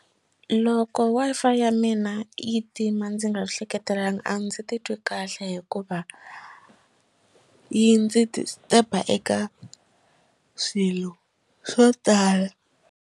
Loko Wi-Fi ya mina yi tima ndzi nga hleketelangi a ndzi titwi kahle hikuva yi ndzi disturb eka swilo swo tala.